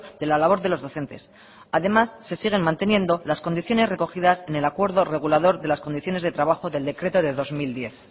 de la labor de los docentes además se siguen manteniendo las condiciones recogidas en el acuerdo regulador de las condiciones de trabajo del decreto de dos mil diez